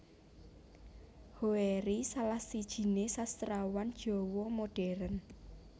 Hoery salah sijiné Sastrawan Jawa Modern